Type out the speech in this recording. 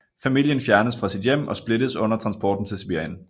Familien fjernes fra sit hjem og splittes under transporten til Sibirien